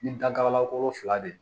Ni dankarila ko fila de don